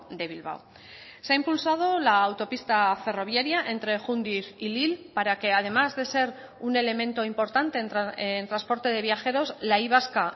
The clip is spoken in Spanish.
de bilbao se ha impulsado la autopista ferroviaria entre jundiz y lil para que además de ser un elemento importante en transporte de viajeros la y vasca